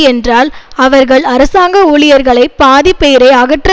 என்றால் அவர்கள் அரசாங்க ஊழியர்களை பாதி பேரை அகற்ற